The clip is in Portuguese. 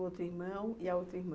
O outro irmão e a outra irmã?